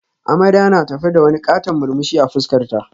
Amarya na tafe da wani katon murmushi a fuskarta